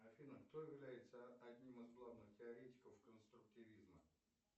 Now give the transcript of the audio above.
афина кто является одним из главных теоретиков конструктивизма